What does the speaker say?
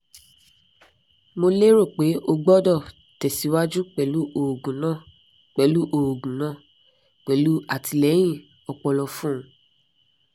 mo lero pe o gbodo tesiwaju pelu oogun na pelu oogun na pelu atileyin opolo fun un